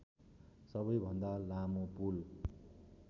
सबैभन्दा लामो पुल